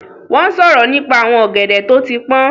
Wọ́n ń sọ̀rọ̀ nípa àwọn ọ̀gẹ̀dẹ̀ tó ti pọ́n